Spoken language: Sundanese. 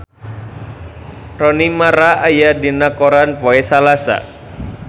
Rooney Mara aya dina koran poe Salasa